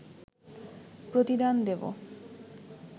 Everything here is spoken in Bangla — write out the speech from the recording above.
প্রতিদান দেব